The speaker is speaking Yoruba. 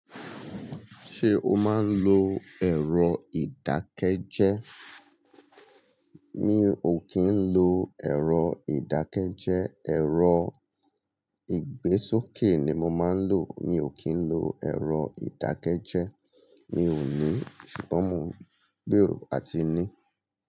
Ṣé o máa ń lo ẹ̀rọ ìdákẹ́jẹ́? Mi ò kí ń lo ẹ̀rọ ìdákẹ́jẹ́, ẹ̀rọ ìgbésókè ni mo máa ń lò. Mi ò kí ń lo ẹ̀rọ ìdákẹ́jẹ́, mi ò ní, ṣùgbọ́n mo gbèrò a ti ní.